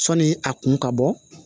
Sɔni a kun ka bɔ